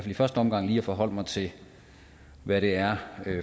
i første omgang lige at forholde mig til hvad det er